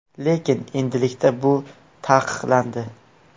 Lekin endilikda bu taqiqlandi.